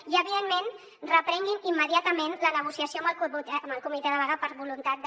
i evidentment reprenguin immediatament la negociació amb el comitè de vaga per voluntat de